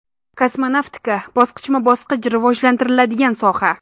Kosmonavtika bosqichma-bosqich rivojlantiriladigan soha.